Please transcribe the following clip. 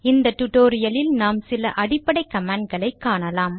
இந்த டுடோரியலில் நாம் சில அடிப்படை கமாண்ட்களை காணலாம்